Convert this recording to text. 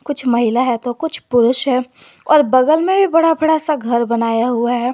कुछ महिला है तो कुछ पुरुष है और बगल में भी बड़ा बड़ा सा घर बनाया हुआ है।